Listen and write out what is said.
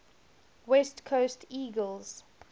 west coast eagles